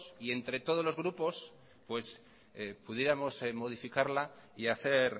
entre todos los grupos pudiéramos modificarla y hacer